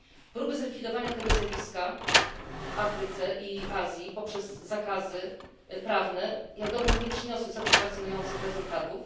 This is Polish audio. Próby zlikwidowania tego zjawiska w Afryce i w Azji poprzez zakazy prawne jak dotąd nie przyniosły satysfakcjonujących rezultatów.